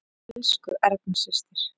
Elsku Erna systir.